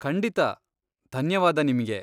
ಖಂಡಿತಾ, ಧನ್ಯವಾದ ನಿಮ್ಗೆ.